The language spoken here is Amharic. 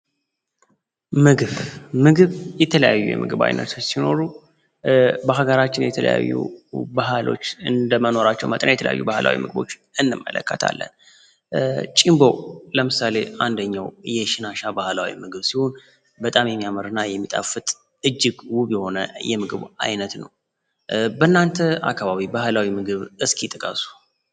ምግፍ ምግብ የተለያዩ የምግብ አይነቶች ሲኖሩ በሀገራችን የተለያዩ ባህሎች እንደመኖራቸው መጠን የተለያዩ ባህላዊ ምግቦች እንመለከታለን ለምሳሌ አንደኛው ባህላዊ ምግብ በጣም የሚጣፍጥ እጅግ ውብ የሆነ የምግብ አይነት ነው በእናንተ አካባቢ ባህላዊ ምግብ እስኪ ጥቀሱ